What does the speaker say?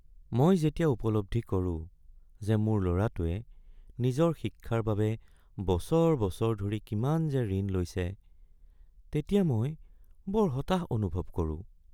মই যেতিয়া উপলব্ধি কৰোঁ যে মোৰ ল’ৰাটোৱে নিজৰ শিক্ষাৰ বাবে বছৰ বছৰ ধৰি কিমান যে ঋণ লৈছে তেতিয়া মই বৰ হতাশ অনুভৱ কৰোঁ।